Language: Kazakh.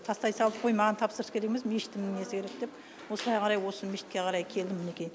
тастай салып ой маған тапсырыс керек емес мешіттің несі керек деп осылай қарай осы мешітке қарай келдім мінекей